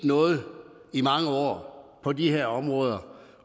noget i mange år på de her områder